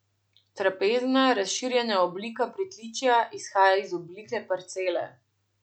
Trapezna, razširjena oblika pritličja izhaja iz oblike parcele.